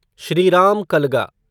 Shriram Kalga